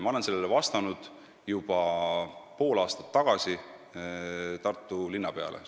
Ma olen selle kohta vastanud juba pool aastat tagasi Tartu linnapeale.